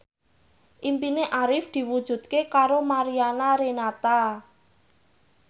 impine Arif diwujudke karo Mariana Renata